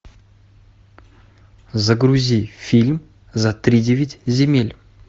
загрузи фильм за тридевять земель